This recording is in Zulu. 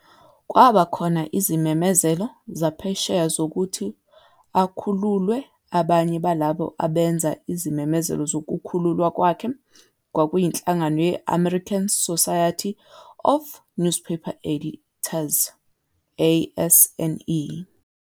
Kwaba khona izimemezelo zaphesheya zokuthi akhululwe abanye balabo abenza izimemezelo zokukhululwa kwakhe kwakuyinhlangano ye-American Society of Newspaper Editors, ASNE.